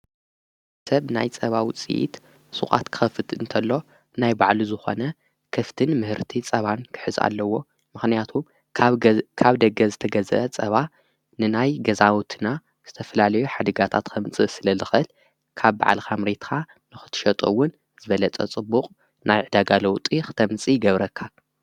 ሰብ ናይ ጸባዊፂይት ሱቓት ክኸፍጥ እንተሎ ናይ ባዕሉ ዝኾነ ከፍትን ምህርቲ ጸባን ክሕዚእ ኣለዎ ምኽንያቱ ካብ ደገ ዝተገዘ ጸባ ንናይ ገዛውትና ዝተፍላለዩ ኃድጋታት ኸምፂ ስለ ልኽል ካብ ባዕልኻምሬትካ ንኽትሸጦውን ዘበለጸ ጽቡቕ ናይ ዕዳጋለዉ ጢ ኽተምፂ ይገብረካ።